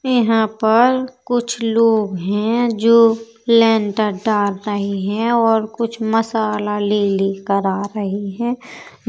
यहां पर कुछ लोग हैं जो लेन्टर डाल रहे हैं और कुछ मसाला ले लेकर आ रहे हैं --